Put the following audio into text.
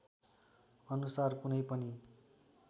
अनुसार कुनै पनि